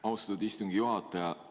Austatud istungi juhataja!